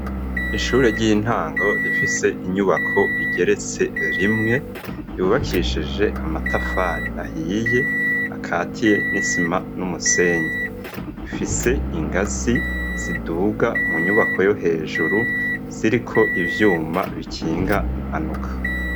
Ishure ry'intango rifise inyubako igeretse rimwe, riubakishije amatafari ahiye, akatiye n'isima n'umusenyi, ifise ingazi ziduga mu nyubako yo hejuru, ziriko ivyuma bikinga impanuka.